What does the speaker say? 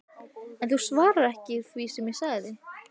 En þú svarar ekki því sem ég sagði